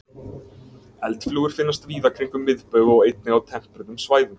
Eldflugur finnast víða kringum miðbaug og einnig á tempruðum svæðum.